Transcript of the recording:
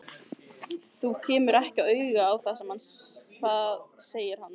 Þú kemur ekki auga á það segir hann.